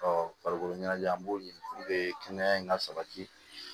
farikolo ɲɛnajɛ an b'o ɲini kɛnɛya in ka sabati